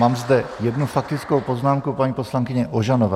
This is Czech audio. Mám zde jednu faktickou poznámku, paní poslankyně Ožanová.